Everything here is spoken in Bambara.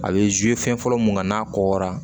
A bɛ fɛn fɔlɔ mun kan n'a kɔra